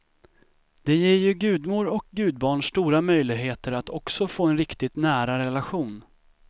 Det ger ju gudmor och gudbarn stora möjligheter att också få en riktigt nära relation.